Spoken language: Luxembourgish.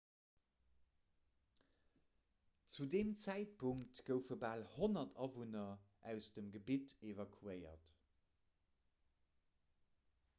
zu deem zäitpunkt goufe bal 100 awunner aus dem gebitt evakuéiert